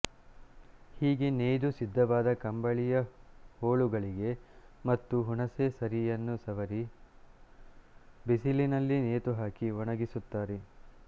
ಹೀಗೆ ನೇಯ್ದು ಸಿದ್ಧವಾದ ಕಂಬಳಿಯ ಹೋಳುಗಳಿಗೆ ಮತ್ತೆ ಹುಣಿಸೆ ಸರಿಯನ್ನು ಸವರಿ ಬಿಸಿಲಿನಲ್ಲಿ ನೇತುಹಾಕಿ ಒಣಗಿಸುತ್ತಾರೆ